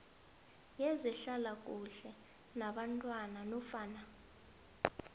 wezehlalakuhle yabantwana nofana